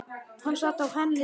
Hann sat á hennar rúmi!